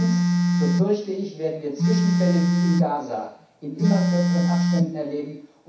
Sonst, so fürchte ich, werden wir Zwischenfälle wie in Gaza in immer kürzeren Abständen erleben.